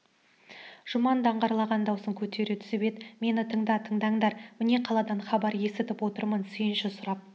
жұман даңғырлаған даусын көтере түсіп енді мені тыңда тындандар міне қаладан хабар есітіп отырмын сүйінші сұрап